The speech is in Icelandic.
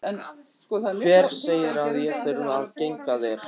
Hver segir að ég þurfi að gegna þér?